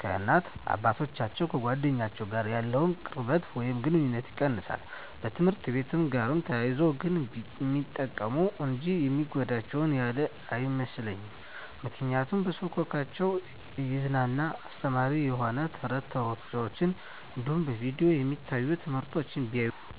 ከእናት አባቶቻቸው፣ ከጓደኞቻቸው ጋር ያለውን ቅርበት ወይም ግኑኝነት ይቀንሳል። በትምህርትአቸው ጋር ተያይዞ ግን ሚጠቀሙ እንጂ የሚጎዳቸው ያለ አይመስለኝም ምክንያቱም በስልኮቻቸው እያዝናና አስተማሪ የሆኑ ተረት ተረቶች እንዲሁም በቪዲዮ የሚታዩ ትምህርቶችን ቢያዩ በጣም ይጠቅማቸዋል።